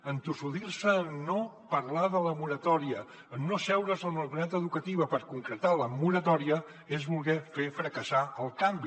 entossudir se en no parlar de la moratòria en no asseure’s amb la comunitat educativa per concretar la moratòria és voler fer fracassar el canvi